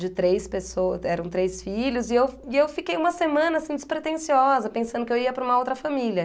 de três pessoas, eram três filhos, e eu e eu fiquei uma semana assim despretensiosa, pensando que eu ia para uma outra família.